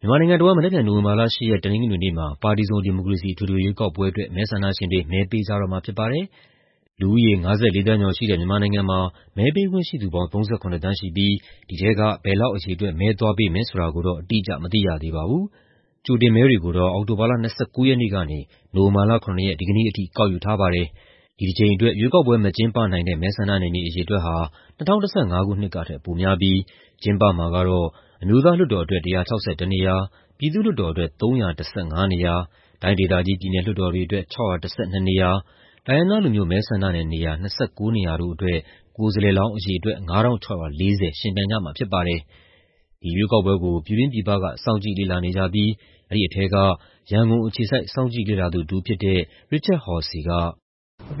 မြန်မာနိုင်ငံတဝန်း မနက်ဖြန် နိုဝင်ဘာလ ၈ ရက် တနင်္ဂနွေနေ့မှာ ပါတီစုံဒီမိုကရေစီ အထွေထွေရွေးကောက်ပွဲအတွက် မဲဆန္ဒရှင်တွေ မဲပေးကြတော့မှာ ဖြစ်ပါတယ်။ လူဦးရေ ၅၄ သန်းကျော်ရှိတဲ့ မြန်မာနိုင်ငံမှာ မဲပေးခွင့်ရှိသူပေါင်း ၃၇ သန်းရှိပြီး ဒီထဲက ဘယ်လောက်အရေအတွက် မဲသွားပေးမယ် ဆိုတာကိုတော့ အတိအကျ မသိရသေးပါဘူး။ ကြိုတင်မဲတွေကိုတော့ အောက်တိုဘာလ ၂၉ ရက်နေ့ကနေ နိုဝင်ဘာလ ၇ ရက် ဒီနေ့ထိ ကောက်ယူထားပါတယ်။ ဒီတကြိမ်အတွက် ရွေးကောက်ပွဲ မကျင်းပနိုင်တဲ့ မဲဆန္ဒနယ်မြေ အရေအတွက်ဟာ ၂၀၁၅ ခုနှစ်ကထက် ပိုများပြီး ကျင်းပမှာကတော့ အမျိုးသားလွှတ်တော်အတွက် ၁၆၁ နေရာ၊ ပြည်သူ့လွှတ်တော်အတွက် ၃၁၅ နေရာ၊ တိုင်းဒေသကြီး ပြည်နယ်လွှတ်တော်တွေအတွက် ၆၁၂ နေရာ၊ တိုင်းရင်းသားလူမျိုး မဲဆန္ဒနယ်နေရာ ၂၉ နေရာတို့အတွက် ကိုယ်စားလှယ်လောင်း အရေအတွက် ၅,၆၄၀ ယှဉ်ပြိုင်ကြမှာ ဖြစ်ပါတယ်။ ဒီရွေးကောက်ပွဲကို ပြည်တွင်းပြည်ပက စောင့်ကြည့်လေ့လာနေကြပြီး အဲဒီထဲက ရန်ကုန်အခြေစိုက် စောင့်ကြည့်လေ့လာသူတဦးဖြစ်တဲ့ Richard Horsey က... "ဒ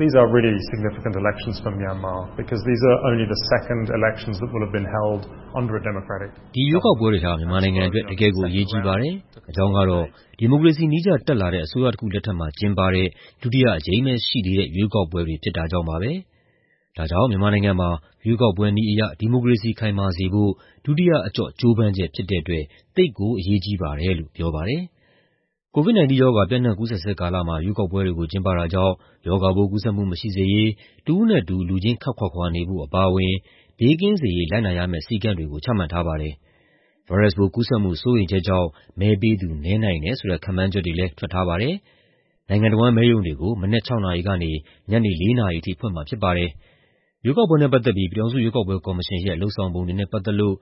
ီရွေးကောက်ပွဲတွေဟာ မြန်မာနိုင်ငံအတွက် တကယ့််ကို အရေးကြီးပါတယ်။ အကြောင်းကတော့ ဒီမိုကရေစီနည်းကျ တက်လာတဲ့ အစိုးရတခုလက်ထက်မှာ ကျင်းပတဲ့ ဒုတိယအကြိမ်ပဲရှိသေးတဲ့ ရွေးကောက်ပွဲတွေ ဖြစ်တာကြောင့်ပါ။ ဒါကြောင့် မြန်မာနိုင်ငံမှာ ရွေးကောက်ပွဲနည်းအရ ဒီမိုကရေစီ ခိုင်မာစေဖို့ ဒုတိယအကျော့ ကြိုးပမ်းချက်ဖြစ်တဲ့အတွက် သိပ်ကို အရေးကြီးပါတယ်" လို့ ပြောပါတယ်။ COVID-19 ရောဂါ ပျံ့နှံ့ကူးစက်ဆဲကာလမှာ ရွေးကောက်ပွဲတွေကို ကျင်းပတာကြောင့် ရောဂါပိုး ကူးစက်မှုမရှိစေရေး တဦးနဲ့တဦး လူချင်း ခပ်ခွာခွာနေဖို့ အပါအဝင် ဘေးကင်းစေရေး လိုက်နာရမယ့် စည်းကမ်းတွေကို ချမှတ်ထားပါတယ်။ ဗိုင်းရပ်စ်ပိုးကူးစက်မှု စိုးရိမ်ချက်ကြောင့် မဲပေးသူ နည်းနိုင်တယ်ဆိုတဲ့ ခန့်မှန်းချက်တွေလည်း ထွက်ထားပါတယ်။ နိုင်ငံတဝန်း မဲရုံတွေကို မနက် ၆ နာရီကနေ ညနေ ၄ နာရီအထိ ဖွင့်မှာဖြစ်ပါတယ်။ ရွေးကောက်ပွဲနဲ့ပတ်သက်ပြီး ပြည်ထောင်စုရွေးကောက်ပွဲကော်မရှင်ရဲ့ လုပ်ဆောင်ပုံတွေနဲ့ ပတ်သက်လို့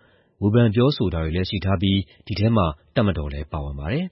ဝေဖန် ပြောဆိုတာတွေလည်း ရှိထားပြီး ဒီထဲမှာ တပ်မတော်လည်း ပါဝင်ပါတယ်။